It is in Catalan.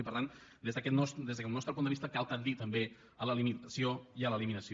i per tant des del nostre punt de vista cal tendir també a la limitació i a l’eliminació